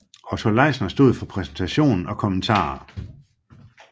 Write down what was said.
Otto Leisner stod for præsentation og kommentarer